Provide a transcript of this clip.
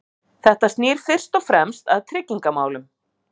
Þetta snýr fyrst og fremst að tryggingamálum.